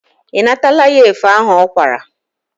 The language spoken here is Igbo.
Ị natala ya efe ahụ ọ kwara?